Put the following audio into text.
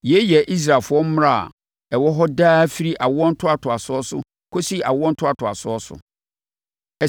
“Yei yɛ Israelfoɔ mmara a ɛwɔ hɔ daa firi awoɔ ntoatoasoɔ so kɔsi awoɔ ntoatoasoɔ so.